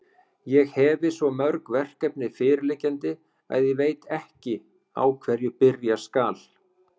Ég hefi svo mörg verkefni fyrirliggjandi, að ég veit ekki, á hverju byrja skal.